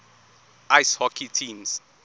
ice hockey teams